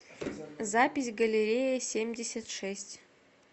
запись галерея семьдесят шесть